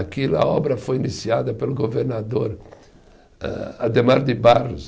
Aquilo, a obra foi iniciada pelo governador âh Ademar de Barros.